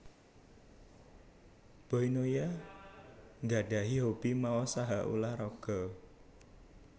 Boy Noya nggadhahi hobi maos saha ulah raga